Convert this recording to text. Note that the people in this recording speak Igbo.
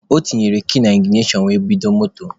O tinyere kii na iginashọn were bido moto.